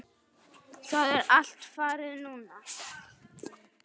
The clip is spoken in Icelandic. Það er allt farið núna.